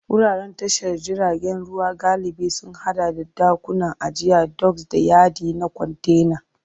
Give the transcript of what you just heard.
Wuraren tashar jiragen ruwa galibi sun haɗa da ɗakunan ajiya doks, da yadi na kwantena.